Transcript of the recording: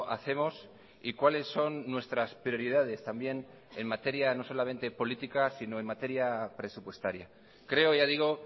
hacemos y cuáles son nuestras prioridades también en materia no solamente política sino en materia presupuestaria creo ya digo